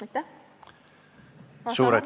Aitäh!